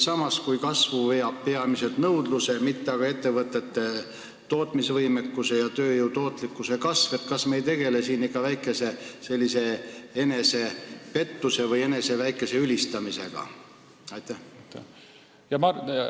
Samas, kui kasvu veab peamiselt nõudlus, mitte aga ettevõtete tootmisvõimekus ja tööjõu tootlikkuse kasv, siis kas me ei tegele siin ikka väikese enesepettuse või eneseülistamisega?